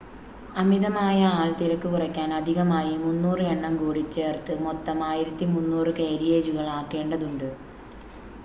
അമിതമായ ആൾത്തിരക്ക് കുറയ്ക്കാൻ അധികമായി 300 എണ്ണം കൂടി ചേർത്ത് മൊത്തം 1,300 കാരിയേജുകൾ ആക്കേണ്ടതുണ്ട്